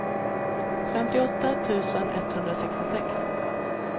femtioåtta tusen etthundrasextiosex